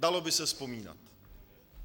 Dalo by se vzpomínat.